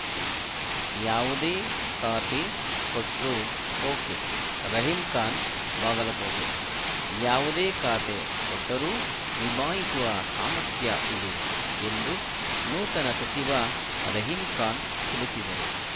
ಯಾವುದೇ ಖಾತೆ ಕೊಟ್ರೂ ಓಕೆ ರಹೀಮ್‌ ಖಾನ್‌ ಬಾಗಲಕೋಟೆ ಯಾವುದೇ ಖಾತೆ ಕೊಟ್ಟರೂ ನಿಭಾಯಿಸುವ ಸಾಮರ್ಥ್ಯ ಇದೆ ಎಂದು ನೂತನ ಸಚಿವ ರಹೀಮ್‌ ಖಾನ್‌ ತಿಳಿಸಿದರು